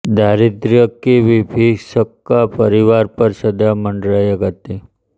दारिद्र्य की विभीषका परिवार पर सदा मँडराया करती